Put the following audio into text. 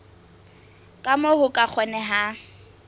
ka moo ho ka kgonehang